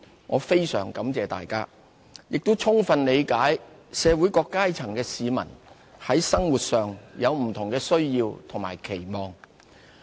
我非常感謝大家，也充分理解社會各階層的市民，在生活上有不同的需要和期望。